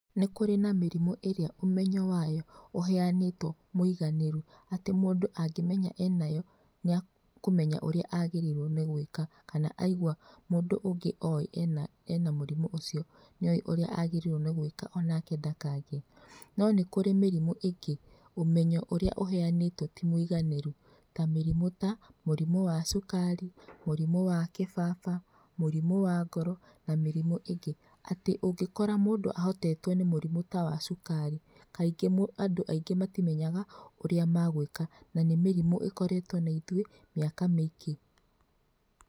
Nĩ kũrĩ na mĩrimũ ĩrĩa ũmenyo wayo ũheanĩtwo mũiganĩru atĩ mũndũ angĩmenya enayo, nĩakũmenya ũrĩa agĩrĩirwo nĩ gwĩka, kana aigwa mũndũ ũngĩ oĩ ena mũrimũ ũcio nĩoĩ ũrĩa agĩrĩrwo nĩ gwĩka onake ndakagĩe. No nĩ kũrĩ mĩrimũ ingĩ ũmenyo ũrĩa ũheanĩtwo ti mũiganĩru ta mĩrimũ ta, mũrimũ wa cukari, mũrimũ wa kĩbaba, mũrimũ wa ngoro na mĩrimũ ĩngĩ. Atĩ ũngĩkora mũndũ ahotetwo nĩ mũrimũ ta wa cukari kaingĩ andũ aingĩ matimenyaga ũrĩa magwĩka na nĩ mĩrimũ ĩkoretwo na ithuĩ mĩaka mĩingĩ.